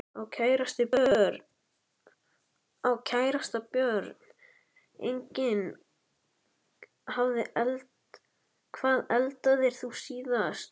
Á kærasta Börn: Engin Hvað eldaðir þú síðast?